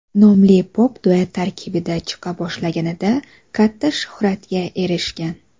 nomli pop-duet tarkibida chiqa boshlaganida katta shuhratga erishgan.